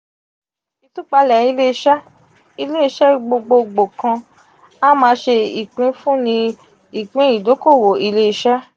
itupale ile-ise: ile ise gbogbogbo kan a maa se ipinfunni ipin idokowo ile-iṣẹ.